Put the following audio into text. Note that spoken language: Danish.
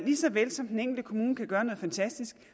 lige så vel som den enkelte kommune kan gøre noget fantastisk